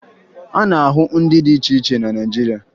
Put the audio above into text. A na-ahụ ndị dị iche cihe na mọọlụ Naịjirịa